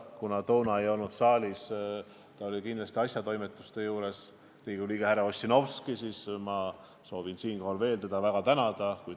Kuna siis ei olnud saalis – ta oli kindlasti asjatoimetuste juures – Riigikogu liige härra Ossinovski, siis ma soovin siinkohal veel väga teda tänada.